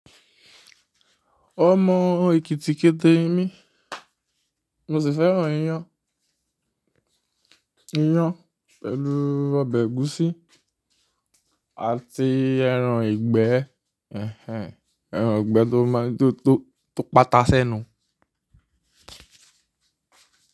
Ó mọ ekítíkéte mi, mo sì fẹ́ràn iyán, iyán pẹ̀lú ọbẹ̀ ẹ̀gúsí àti ẹran ìgbẹ́, ẹhẹ́n, ẹran ìgbẹ́ tó má tó tó tó pátásẹ́nu.